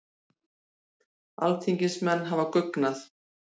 Alþingismenn hafa guggnað